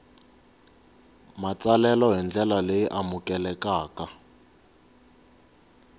matsalelo hi ndlela leyi amukelekaka